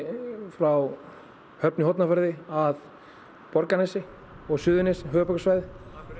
frá Höfn í Hornafirði að Borgarnesi og Suðurnesin höfuðborgarsvæðið